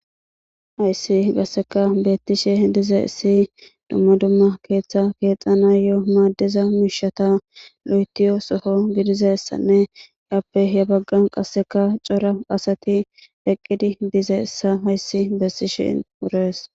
Hayisi qasekka betishe dizayisi dumma dumma keeththa keeththanayo madiza mishata lotiya soho gididayisanne happe he bagan cora asati eqidi dizayisa hayisi beesishe deesi